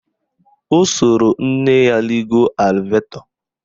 O soro nne ya rigo elevetọ